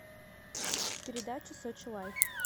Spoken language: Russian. передача сочи лайф